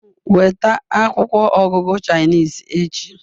Weta akwụkwọ ọgụgụ Chinese echi